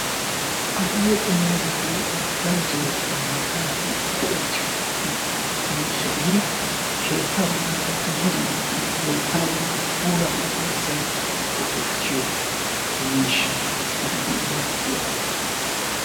Alleeqo yaagiyoge daroto macca naati go'ettiyo miishsha gididi keetta bollankka dumma dummabatun loyttanawu woykko puulaa gujjanawu asay go'etiyo miishshaa gididi maaddiyaba.